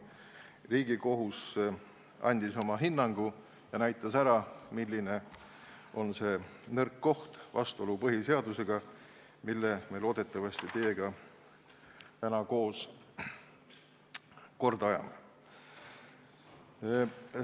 Riigikohus andis oma hinnangu ja näitas ära, milline on see nõrk koht, vastuolu põhiseadusega, mille me loodetavasti täna teiega koos korda ajame.